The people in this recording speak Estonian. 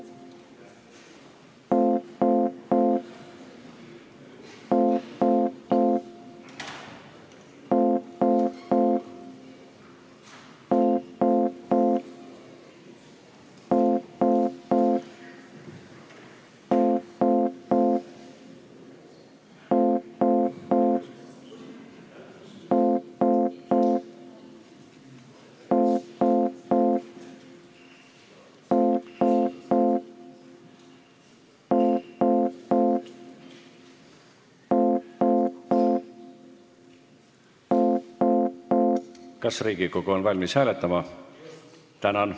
Kas Riigikogu on valmis hääletama?